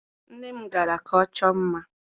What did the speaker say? Nne m gara ka ọ chọọ mma.